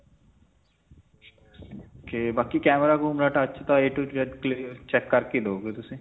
ok. ਬਾਕੀ camera ਕੁਮਰਾ touch a to z check ਕਰਕੇ ਦਵੋਗੇ ਤੁਸੀਂ?